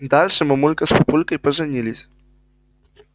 дальше мамулька с папулькой поженились